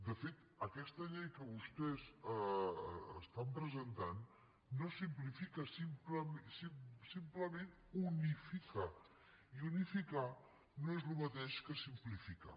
de fet aquesta llei que vostès presenten no simplifica simplement unifica i unificar no és el mateix que simplificar